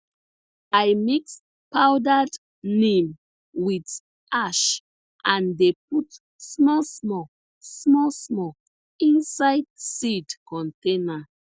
i mix powdered neem with ash and dey put smallsmall smallsmall inside seed container